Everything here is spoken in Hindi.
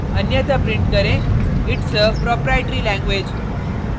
अन्यथा प्रिंट करें its a proprietary language